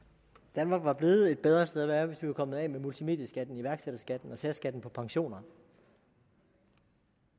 danmark var blevet et bedre sted at være hvis vi var kommet af med multimedieskatten iværksætterskatten og særskatten på pensioner